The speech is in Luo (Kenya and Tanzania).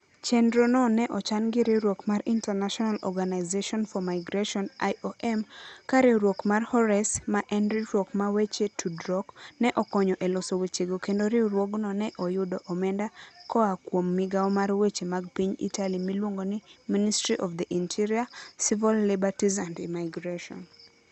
Chenrono ne ochan gi riwruok mar International Organization for Migration (IOM), ka riwruok mar Horace, ma en riwruok mar weche tudruok, ne okonyo e loso wechego kendo riwruogno ne oyudo omenda koa kuom migawo mar weche mag piny Italy miluongo ni Ministry of the Interior, Civil Liberties and Immigration.